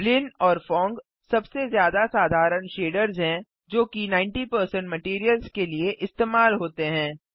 ब्लिन और फोंग सबसे ज्यादा साधारण शेडर्स हैं जोकि 90 मटैरियल्स के लिए इस्तेमाल होते हैं